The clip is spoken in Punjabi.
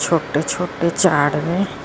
ਛੋਟੇ ਛੋਟੇ ਚਾਰ ਵੇ।